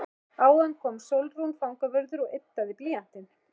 Áðan kom Sólrún fangavörður og yddaði blýantinn.